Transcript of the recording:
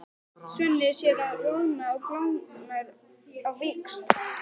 Svenni sér að hann roðnar og blánar á víxl.